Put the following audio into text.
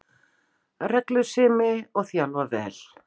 Reglusemi, og þjálfa vel